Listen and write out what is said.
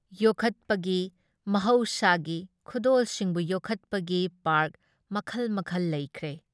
ꯌꯣꯛꯈꯠꯄꯒꯤ, ꯃꯍꯧꯁꯥꯒꯤ ꯈꯨꯗꯣꯜꯁꯤꯡꯕꯨ ꯌꯣꯛꯈꯠꯄꯒꯤ ꯄꯥꯔꯛ ꯃꯈꯜ ꯃꯈꯜ ꯂꯩꯈ꯭ꯔꯦ ꯫